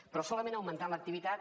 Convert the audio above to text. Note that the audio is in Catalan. però solament augmentant l’activitat